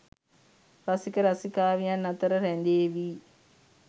රසික රසිකාවියන් අතර රැඳේවි.